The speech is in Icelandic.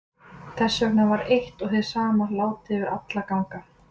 Þess vegna var eitt og hið sama látið yfir alla ganga.